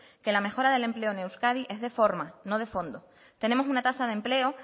que la mejor del empleo en euskadi es de forma no de fondo tenemos una tasa de